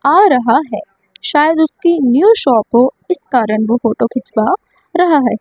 आ रहा है शायद उसकी न्यू शॉप हो इस कारण वो फोटो खिंचवा रहा है।